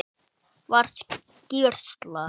Var skýrsla